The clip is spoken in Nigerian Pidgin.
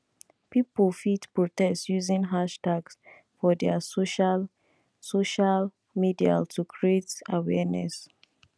pipo fit protest using hashtags for their social social medial to create awearness